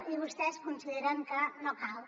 i vostès consideren que no cal